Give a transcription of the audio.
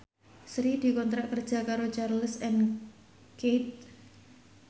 Sri dikontrak kerja karo Charles and Keith